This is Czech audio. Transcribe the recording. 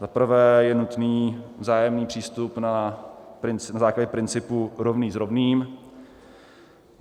Za prvé je nutný vzájemný přístup na základě principu rovný s rovným.